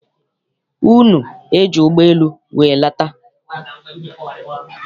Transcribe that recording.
Unu eji ụgbọ elu wee lata?